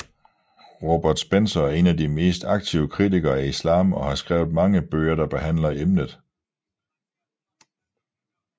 Robert Spencer er en af de mest aktive kritikere af islam og har skrevet mange bøger der behandler emnet